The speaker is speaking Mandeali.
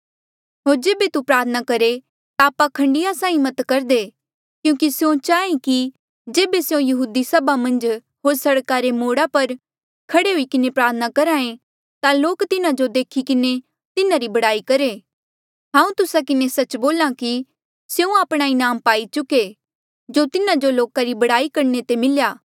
होर जेबे तू प्रार्थना करहे ता पाखंडिया साहीं मत करदे क्यूंकि स्यों चाहे कि जेबे स्यों यहूदी सभा मन्झ होर सड़का रे मोड़ा पर खड़े हुई किन्हें प्रार्थना करहा ऐें ता लोक तिन्हा जो देखी किन्हें तिन्हारी बड़ाई करहे हांऊँ तुस्सा किन्हें सच्च बोल्हा कि स्यों आपणा इनाम पाई चुके जो तिन्हा जो लोका री बड़ाई करणे ते मिल्या